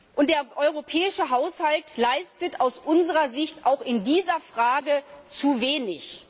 Und der europäische Haushalt leistet aus unserer Sicht auch in dieser Frage zu wenig.